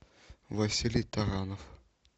василий таранов